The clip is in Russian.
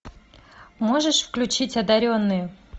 можешь включить одаренные